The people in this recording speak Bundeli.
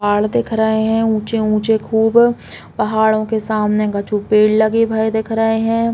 पहाड़ दिख रहे है ऊचे-ऊचे खूब। पहाड़ो के सामने कछु पेड़ लगे भए दिख रहे हैं।